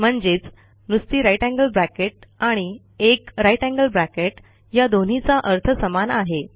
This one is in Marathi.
म्हणजेच नुसती जीटी आणि 1 जीटी या दोन्हीचा अर्थ समान आहे